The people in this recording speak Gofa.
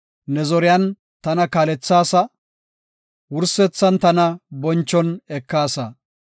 Ne zoriyan tana kaalethaasa; wursethan tana bonchon ekaasa.